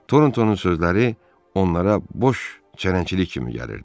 Torontonun sözləri onlara boş çərəncilik kimi gəlirdi.